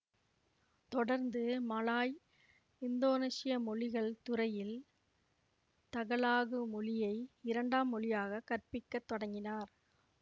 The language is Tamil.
தொடர்ந்து மலாய்இந்தோனேசிய மொழிகள் துறையில் தகலாகு மொழியை இரண்டாம் மொழியாக கற்பிக்கத் தொடங்கினார்